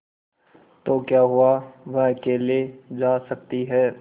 तो क्या हुआवह अकेले जा सकती है